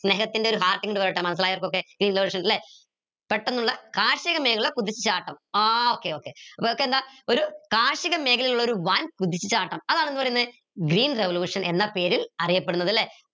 സ്നേഹത്തിന്റെ ഒരു heart ഇങ്ങട് വരട്ടെ മനസിലായവർക്കൊക്കെ ല്ലെ പെട്ടെന്നുള്ള കാർഷിക മേഖല കുതിച്ചുചാട്ടം ഏർ okay okay എന്താ ഒരു കാർഷിക മേഖലയിലുള്ള ഒരു വൻ കുതിച്ചുചാട്ടം അതാണെന്ത് പറീന്ന് green revolution എന്ന പേരിൽ അറിയപ്പെടുന്നത് ല്ലെ